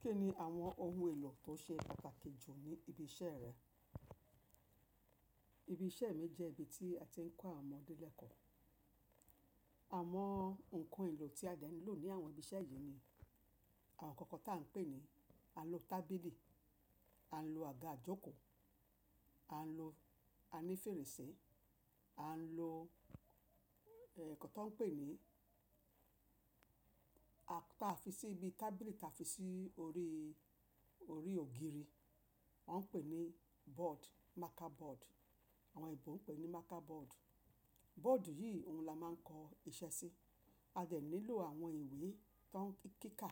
Kí ni àwọn ohun èlò tó ṣe pàtàkì jù ní ibi iṣẹ́ rẹ? Ibi iṣẹ́ mi jẹ́ ibi tí a ti ń kọ́ àwọn ọmọdé lẹ́kọ̀ọ́. Àwọn ǹkan èlò tí a de ní lò ní àwọn ibi iṣẹ́ yìí ni àwọn ǹkan kan tó à ń pè ní a ń lo tábìlì, a ń lo àga ìjókòó, a ń lo ani fèrèsé, a ń lo inkan tó ń pè ní a fi sí ibi tábìlì ta fi sí orí, orí ògiri. Wọ́n ń pè ní board, marker board. Àwọn èbó ń pè ní marker board. Board yìí ohun la máa ń kọ iṣẹ́ sí. A dà ní lò àwọn ìwé tó ń kíkà,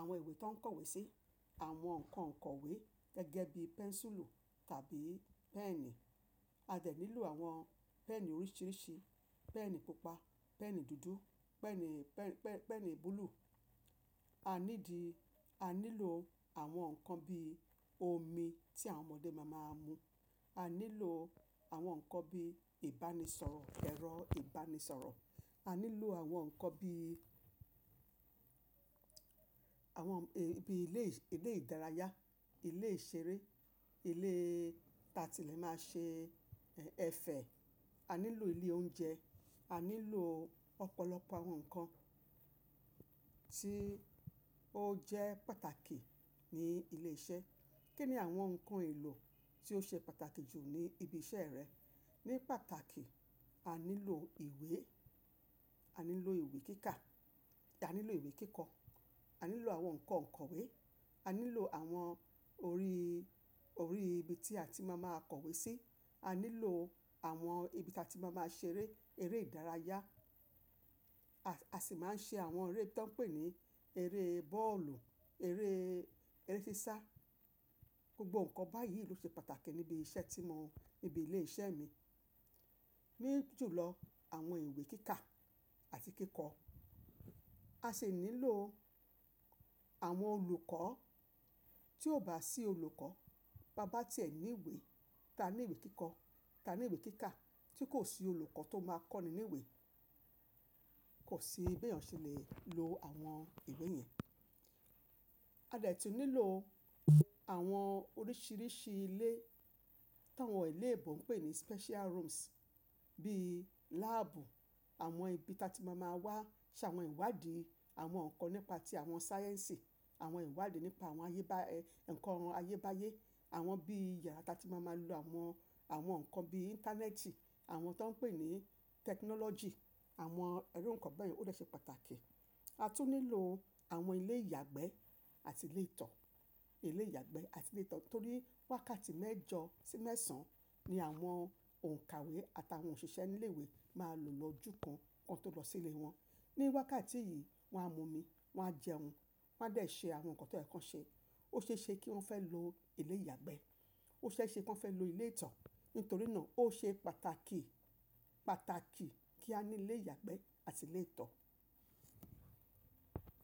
àwọn ìwé tó ń kọ̀wé sí, àwọn ǹkan kọ̀wé gẹ́gẹ́ bíi pẹ́ńsùlù tàbí pẹ́ẹ̀ni. A de ní lò àwọn pẹ́ẹ̀ni oríṣiríṣi, pẹ́ẹ̀ni pupa, pẹ́ẹ̀ni dúdú, pẹ́ẹ̀ni, pẹ́ẹ̀ni búlúù. A nídi, a ní lò àwọn ǹkan bí omi tí àwọn ọmọdé máa máa mú. A ní lò àwọn ǹkan bí ìbánisọ̀rọ̀, ẹ̀rọ ìbánisọ̀rọ̀. A ní lò àwọn ǹkan bí àwọn bí ilé, ilé ìdárayá, ilé ìṣeré, ilé táa ti lè máa ṣe ẹ̀fẹ̀. A ní lò ilé oúnjẹ. A ní lò ọ̀pọ̀lọpọ̀ àwọn ǹkan tí ó jẹ́ pàtàkì ní ilé iṣẹ́. Kí ni àwọn ǹkan èlò tí ó ṣe pàtàkì jù ní ibi iṣẹ́ rẹ? Ní pàtàkì, a ní lò ìwé. A ní lò ìwé kíkà. A ní lò ìwé kíkọ. A ní lò àwọn ǹkan kọ̀wé. A ní lò àwọn orí, orí ibi tí a ti máa máa kọ̀wé sí. A ní lò àwọn ibi táa ti máa máa ṣe eré, eré ìdárayá. A sì máa ń ṣe àwọn eré tó ń pè ní eré bọ́ọ̀lù, eré, eré sísá. Gbogbo ǹkan báyìí ló ṣe pàtàkì níbi iṣẹ́ tí mo, níbi ilé iṣẹ́ mi. Ní ju lọ àwọn ìwé kíkà àti kíkọ. A sì ní lò àwọn olùkọ́ tí ò bá sí olùkọ́, bá bá tí ẹ ní ìwé, táa ní ìwé kíkọ, táa ní ìwé kíkà tí kò sí olùkọ́ tó máa kọ́ ni ní ìwé, kò sí bí èèyàn ṣe lè lo àwọn ìwé yẹn. A dà tí ò ní lò àwọn oríṣiríṣi ilé tí àwọn èlébọ̀ ń pè ní special rooms bíi láàbù, àwọn ibi táa ti máa máa wá ṣe àwọn ìwádìí, àwọn ǹkan nípa tí àwọn sáyẹ́ǹsì, àwọn ìwádìí nípa àwọn ayéba, ẹ̀ ǹkan ayébáyé. Àwọn bíì yarà táa ti máa máa lo àwọn, àwọn ǹkan bí íńtánẹ́ẹ̀tì, àwọn tó ń pè ní tẹkinọ́lọ́gì, àwọn iru ǹkan bẹ́ẹ̀ yen o dè ṣe pàtàkì. A tún ní lò àwọn ilé ìyàgbẹ́ àti ilé ìtọ̀. Ilé ìyàgbẹ́ àti ilé ìtọ̀ torí wákàtí mẹ́jọ sí mẹ́sàn ni àwọn òǹkàwé àtàwọn òṣìṣẹ́ nílè ìwé máa lò lọ jú kan, kwon tó lọ sí ilé wọn. Ní wákàtí yìí wọ́n á mú omi, wọ́n á jẹun, wọ́n á dà ṣe àwọn ǹkan tó yẹ́ ki won ṣe. Ó ṣe é ṣe kí wọ́n fẹ́ lò ilé ìyàgbẹ́. Ó ṣe é ṣe kí wọ́n fẹ́ lò ilé ìtọ̀. Nítorí náà ó ṣe pàtàkì, pàtàkì kí a ní ilé ìyàgbẹ́ àti ilé ìtọ̀.